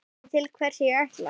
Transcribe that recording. Veistu til hvers ég ætlast?